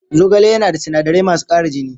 Zogale yana da sinadarai masu ƙara jini